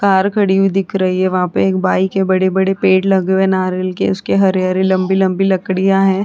Car खड़ी हुई दिख रही है वहाँ पे एक बाइक है बड़े-बड़े पेड़ लगे हुए है नारियल के उसके हरे-हरे लंबी-लंबी लकड़ियां है।